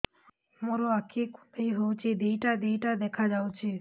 ମୋର ଆଖି କୁଣ୍ଡାଇ ହଉଛି ଦିଇଟା ଦିଇଟା ଦେଖା ଯାଉଛି